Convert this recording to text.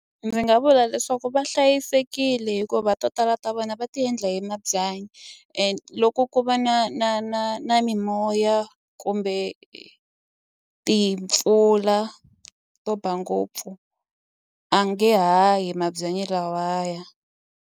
Ndzi nga vula leswaku va hlayisekile hikuva to tala ta vona va ti endla hi mabyanyi and loko ku va na na na na mimoya kumbe timpfula to ba ngopfu a nge hahi mabyanyi lawaya.